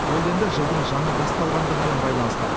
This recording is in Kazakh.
ол енді жылдың жаңа басталғандығымен баланысты